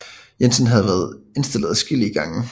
Jensen havde været indstillet adskillige gange